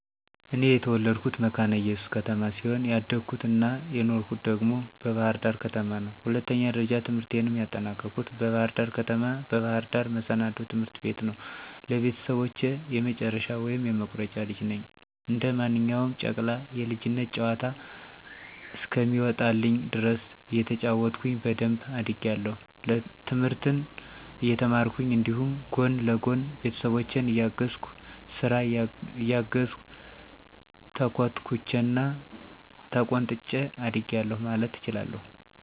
እኔ የተወለድኩት መካነ እየሱስ ከተማ ሲሆን ያደኩት አና የኖርሁት ደግሞ በባህር ዳር ከተማ ነው። ሁለተኛ ደረጃ ትምህርቴንም ያጠናቀኩት በባህር ደር ከተማ፣ በባህር ዳር መሰናዶ ትምህርት ቤት ነው። ለቤተሰቦቸ የመጨረሻ ወይም የመቁረጫ ልጅ ነኝ። እንደ ማንኛውም ጨቅላ የልጅነት ጨዋታ እስከሚወጣልኝ ድረስ እየተጫወትኩኝ በደንብ አድጌአለሁ፤ ትምህርትን እየተማርኩኝ እንዲሁም ጎን ለጎን ቤተሰቦቸን እየታዘዝኩ፥ ስራ እያገዝሁ፣ ተኮትኩቸና ተቆንጥጨ አድጌአለሁ ማለት እችላለሁ።